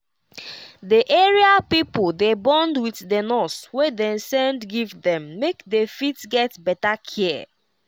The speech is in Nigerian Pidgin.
the area pipo dey bond with the nurse wey dem send give them make they fit get better care.